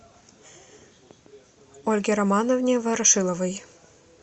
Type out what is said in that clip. ольге романовне ворошиловой